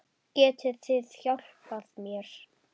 Getið þið hjálpað mér?